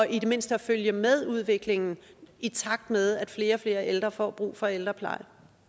i det mindste at følge med udviklingen i takt med at flere og flere ældre får brug for ældrepleje